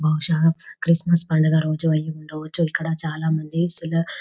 బహుశా క్రిస్మస్ పండగ రోజు అయ్యుండవచ్చు ఇక్కడ చాలా మంది ఏసుల--